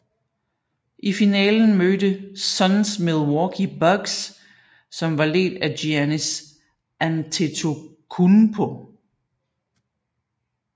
I finalen mødte Suns Milwaukee Bucks som var ledt af Giannis Antetokounmpo